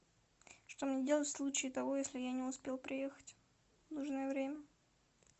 что мне делать в случае того если я не успел приехать в нужное время